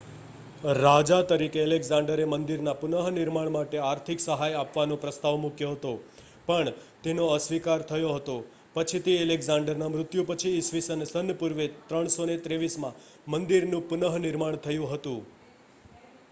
રાજા તરીકે એલેક્ઝાંડરે મંદિરના પુનર્નિર્માણ માટે આર્થિક સહાય આપવાનો પ્રસ્તાવ મૂક્યો હતો પણ તેનો અસ્વીકાર થયો હતો પછીથી એલેક્ઝાંડરના મૃત્યુ પછી ઈસ્વી સન પૂર્વે 323માં મંદિરનું પુનર્નિર્માણ થયું હતું